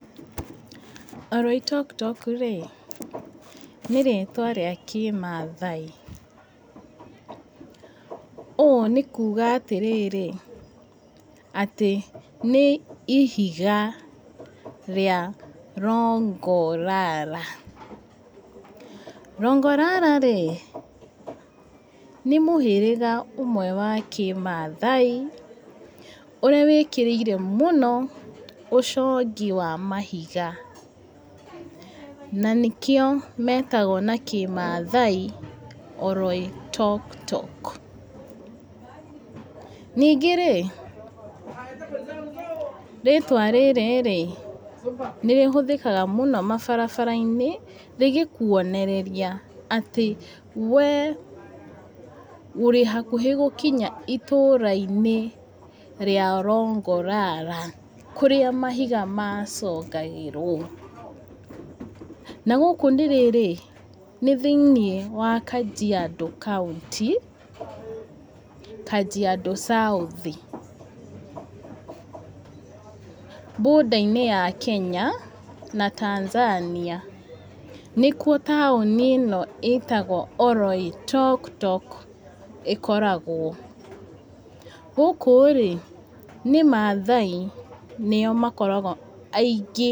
Oloitoktok-rĩ, nĩ rĩtwa rĩa kĩmathai. Ũũ nĩ kuuga atĩrĩrĩ, atĩ nĩ ihiga rĩa Rongo-Rara, Rongo-Rara-rĩ, nĩ mũhĩrĩga ũmwe wa kĩmathai, ũrĩa wĩkĩrĩire mũno ũcongi wa mahiga, na nĩkĩo metagwo na kĩmathai, Oloitoktok. Ningĩ-rĩ, rĩtwa rĩrĩ, nĩ rĩhũthĩkaga mũno mabarabara-inĩ, rĩgĩkuonereria atĩ ũrĩ hakuhĩ gũkinya itũra-inĩ rĩa Rongo-Rara, kũrĩa mahiga macongagĩrwo, na gũkũ nĩ rĩrĩ, nĩ thĩinĩ wa Kajiando kaũntĩ, Kajiando South . Boarder -inĩ ya Kenya, na Tanzania. Nĩkuo taũni ĩno ĩtagwo Oloitoktok ĩkoragwo. Gũkũ-rĩ, nĩ Mathia, nĩo makoragwo aingĩ.